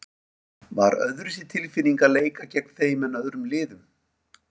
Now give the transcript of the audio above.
Var öðruvísi tilfinning að leika gegn þeim en öðrum liðum?